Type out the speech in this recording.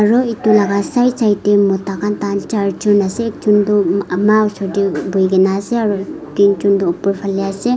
aro etu laka side side dae mota kan kan jar jun ase ekjun tho ama falae bui kina ase aro tui jun tho opor falae ase.